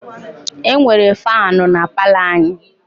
E nwere faanụ na palọ anyị.